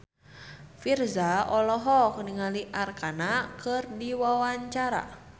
Virzha olohok ningali Arkarna keur diwawancara